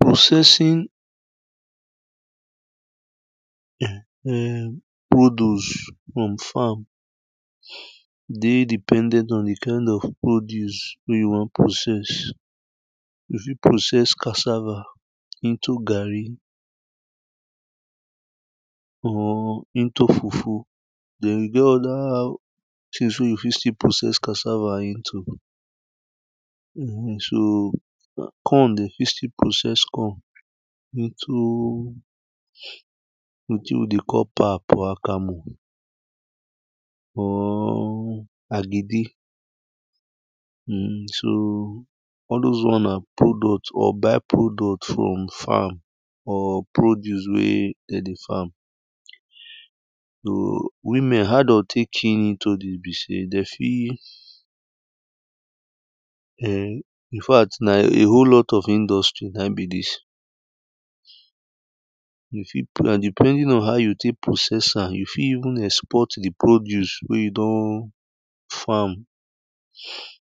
Processing um produce from farm dey dependent on the kind of produce wey you wan process You fit process cassava into garri or into fufu Then e get other things wey you fit still process casava into So corn de fit still process corn into into wetin we dey call pap or akamu or agidi um so all those one na product or by-product from farm or produce wey de dey farm. So women how de go fit key into the. De fi um infact na a whole lot of industry naim be this You fit plan depending on how you take process am. You fit even export the produce wey you don farm.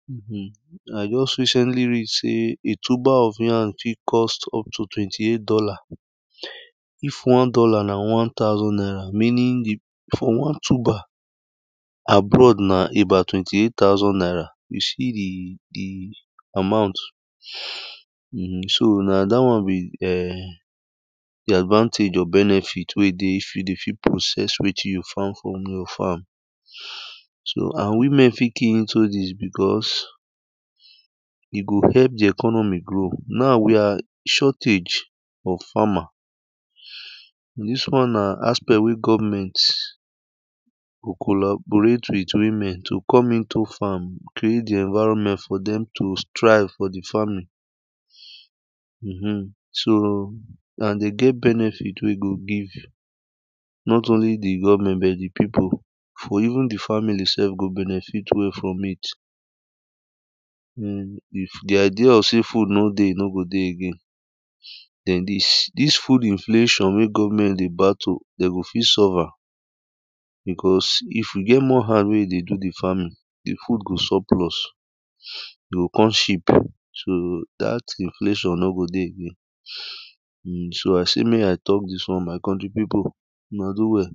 um I just recently read sey a tuber of yam fit cost up to twenty eight dollar If one dollar na one thousand naira meaning the for one tuber, abroad na about twenty eight thousand naira. You see the, the amount um so na that one be eh, the advantage or benefit wey dey if you dey fit process wetin you farm for your farm So and women fit key into this because e go help the economy grow. Now we are shortage for farmer. This one na aspect wey govment to collaborate with women to come into farm, create the environment for dem to strive for the farming um. So and de get benefit wey go give not only the govment but the people For even the family sef go benefit well from it. um if the idea of sey food nor go dey again Then this, this food inflation wey govment dey battle, dem go fit solve am because if we get more hand wey dey do the farming, the food go surplus. E go kon cheap. So that inflation nor go dey again um So I sey make i talk this one. My country people una do well